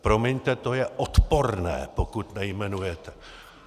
Promiňte, to je odporné, pokud nejmenujete!